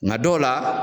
Nga dɔw la